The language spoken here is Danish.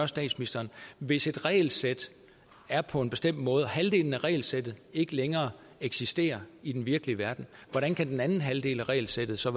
statsministeren hvis et regelsæt er på en bestemt måde og halvdelen af regelsættet ikke længere eksisterer i den virkelige verden hvordan kan den anden halvdel af regelsættet så